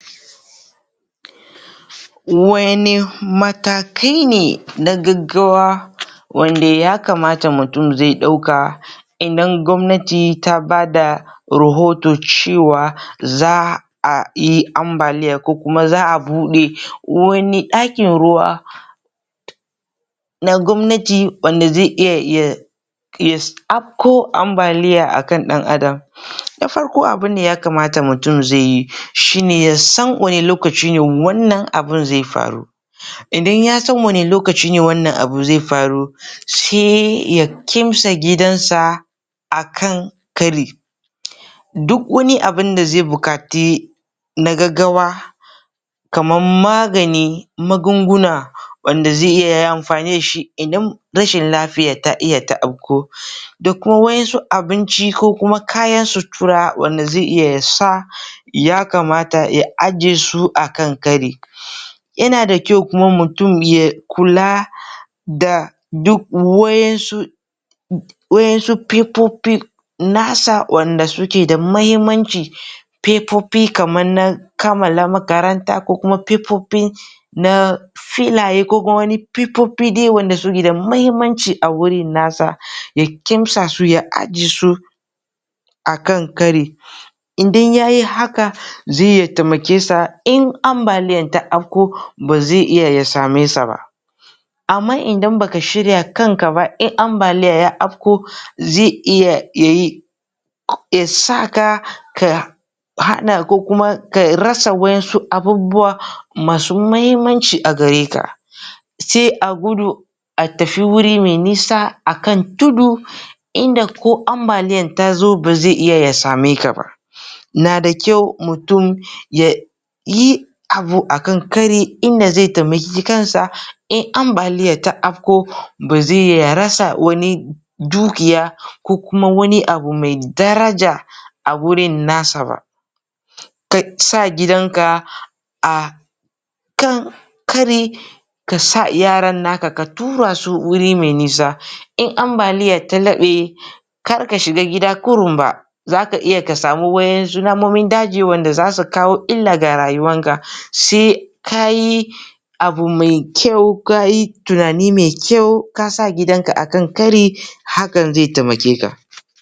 Wanne matakai ne na gaggawa wanda ya kamata mutum zai ɗauka idan gwamnati ta bada rohoto cewa zaa a yi ambaliya ko kuma zaʼa buɗe wani ɗakin ruwa na gwamnati wanda zai iya ya afko ambaliya akan ɗan adam na farko abinda ya kamata mutum zaiyi shi ne ya san wani lokacine wannan abun zai faru idan ya san wani lokacine wannan abu zai faru sai ya kimsa gidansa akan kari duk wani abun da zai buƙaci na gaggawa kamar magani magunguna wanda zai iya ya amfani dashi idan rashin lafiya ta iya ta afku da kuma wa'insu abinci ko kuma kayan sutura wanda zai iya ya sa ya kamata ya aje su akan kari yana da kyau kuma mutum ya kula da duk wa'insu waʼin su fefofi nasa wanda suke da mahimmanci fefofi kamar na kammala makaranta ko kuma fefofi na filaye ko kuma wani fefofi dai wanda suke da mahimmanci agurin nasa ya kimsa su ya aje su akan kari idan yayi haka zai taimake sa in ambaliyar ta afku ba zai iya ya sa me sa ba amma idan baka shirya kan ka ba in ambaliya ya afko zai iya yayi ya saka ka ka hana ko kuma ka rasa waʼin su abubuwa masu mahimmanci agare ka sai a gudu a tafi wuri mai nisa akan tudu inda ko ambaliyan tazo ba zai iya ya sa me ka ba nada kyau mutum ya yii abu akan kari inda zai taimaki kan sa in ambaliya ta afko ba zai iya ya rasa wani dukiya ko kuma wani abu mai daraja a gurin nasa ba ka sa gidanka a kan kari kasa yaran naka, ka tura su wuri mai nisa in ambaliyar ta laɓe kar ka shiga gida kurum ba zaka iya ka samu waʼinsu namomin daji wanda zasu kawo illa ga rayuwarka sai kayi abu mai kyau ,kayi tunani mai kyau kasa gidanka akan kari hakan zai taimake ka.